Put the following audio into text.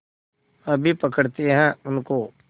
अभी पकड़ते हैं उनको